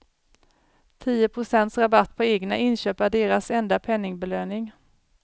Tio procents rabatt på egna inköp är deras enda penningbelöning.